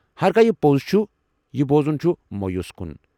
ہرگاہ یہِ پوٚز چھُ، یہِ بوزُن چھُ مویوٗس كُن ۔